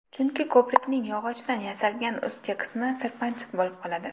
Chunki ko‘prikning yog‘ochdan yasalgan ustki qismi sirpanchiq bo‘lib qoladi.